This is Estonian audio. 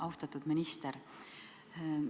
Austatud minister!